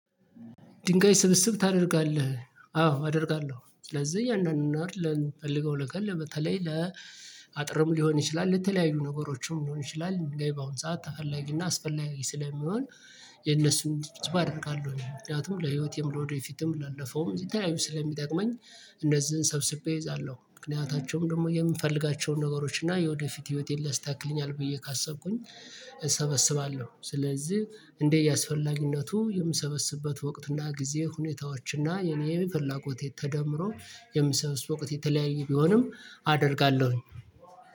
ድንጋይ ስብስብ ታደርጋለህ አዎ አደርጋለሁ ስለዚህ እያንዳንዱን አይደለም ፈልገው ለቀን ለበተለይ ለአጥርም ሊሆን ይችላል ለተለያዩ ነገሮችም ሊሆን ይችላል በአሁን ሰዓት ተፈላጊና አስፈላጊ ስለሚሆን። የነሱን ችብችብ አደርጋለሁኝ ምክንያቱም ለህይወቴም ለወደፊትም ላለፈውም ለተለያዩ ስለሚጠቅመኝ። እንደዚህ ሰብስቤ እይዛለሁ ምክንያታቸውም ደግሞ የምፈልጋቸውን ነገሮች እና የወደፊት ህይወቴን ሊያስተካክልኛል ብዬ ካሰብኩኝ። እሰበስባለሁ ስለዚህ እንዴ እያስፈላጊነቱ የምሰበስብበት ወቅትና ጊዜ ሁኔታዎች እና የኔ ፈላጎት የተደመረው የምሰበስብበት ወቅት የተለያየ ቢሆንም አደርጋለሁኝ።